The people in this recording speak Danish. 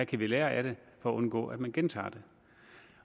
kan lære af det for at undgå at man gentager det